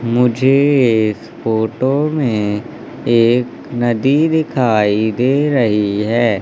मुझे इस फोटो में एक नदी दिखाई दे रही है।